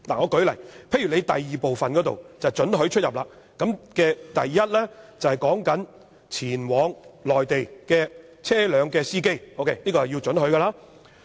舉例來說，附表第2部關乎准許出入，第1項涉及前往內地車輛的司機，這是要准許。